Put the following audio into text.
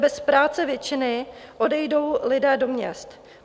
Bez práce většinou odejdou lidé do měst.